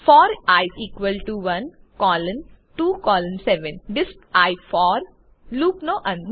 four i equal to 1 colon 2 colon DISP i for લુપનો અંત